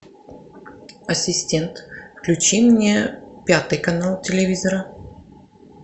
ассистент включи мне пятый канал телевизора